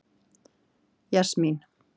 Jasmín